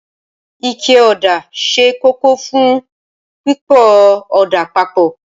Ike ọ̀dà ṣe kókó fún pípo ọ̀dà papọ̀